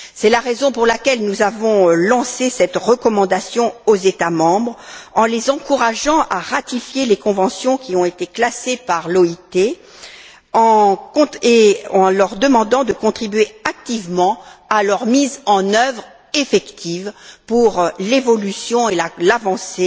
C'est la raison pour laquelle nous avons lancé cette recommandation aux États membres, en les encourageant à ratifier les conventions qui ont été classées par l'OIT et en leur demandant de contribuer activement à leur mise en œuvre effective pour l'évolution et l'avancée